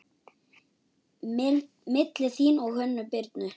Milli þín og Hönnu Birnu?